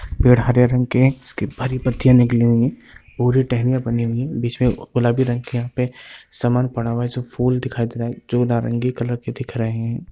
पेड़ हरे रंग के हैं इसकी हरी पत्तियां निकली हुयी हैं पूरी टहनियाँ बनी हुयी हैं बीच में गुलाबी रंग की यहाँ पे सामान पड़ा हुआ है जो फूल दिखायी दे रहा है जो नारंगी कलर के दिख रहे हैं।